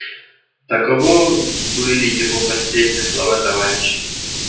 таково были его последние слова товарищи